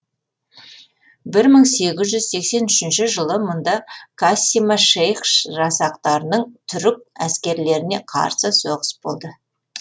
бір мың сегіз жүз сексен үшінші жылы мұнда кассима шейх жасақтарының түрік әскерлеріне қарсы соғыс болды